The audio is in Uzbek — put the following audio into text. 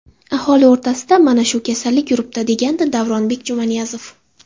Aholi orasida mana shu kasallik yuribdi”, degandi Davronbek Jumaniyozov.